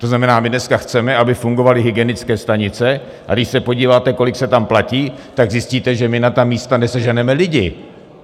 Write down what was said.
To znamená, my dneska chceme, aby fungovaly hygienické stanice, a když se podíváte, kolik se tam platí, tak zjistíte, že my na ta místa neseženeme lidi.